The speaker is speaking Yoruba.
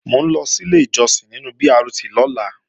Mò ń lọ sílé ìjọsìn nínu BRT lọ́la